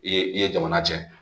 I ye i ye jamana cɛ